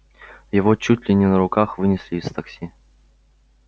его чуть ли не на руках вынесли из такси